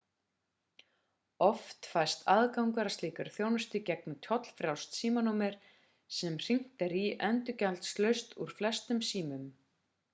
oft fæst aðgangur að slíkri þjónustu í gegnum tollfrjálst símanúmer sem hringt er í endurgjaldslaust úr flestum símum